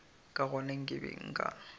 ka gona ke be nka